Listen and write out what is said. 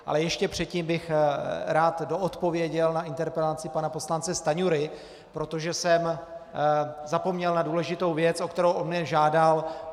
Ale ještě předtím bych rád doodpověděl na interpelaci pana poslance Stanjury, protože jsem zapomněl na důležitou věc, o kterou on mě žádal.